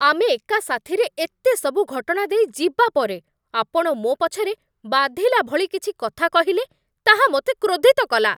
ଆମେ ଏକା ସାଥିରେ ଏତେ ସବୁ ଘଟଣା ଦେଇ ଯିବା ପରେ, ଆପଣ ମୋ ପଛରେ ବାଧିଲା ଭଳି କିଛି କଥା କହିଲେ, ତାହା ମୋତେ କ୍ରୋଧିତ କଲା।